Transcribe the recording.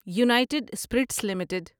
United spirits limited